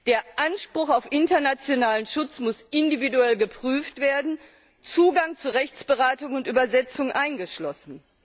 Der Anspruch auf internationalen Schutz muss individuell geprüft werden, Zugang zu Rechtsberatung und Übersetzung eingeschlossen.